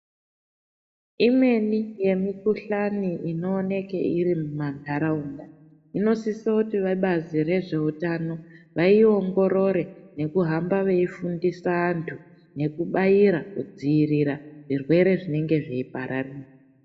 Imweni yemukhuhlani inooneke iri mumandaraunda inosisa kuti vebazi rezveutano vaiongorore nekuhamba veifundisa andu nekubaira kudziirira zvirwere zvinenge zveipararira.